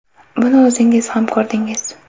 Buni o‘zingiz ham ko‘rdingiz.